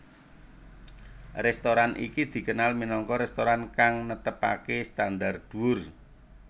Restoran iki dikenal minangka restoran kang netepake standar dhuwur